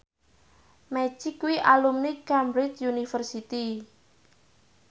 Magic kuwi alumni Cambridge University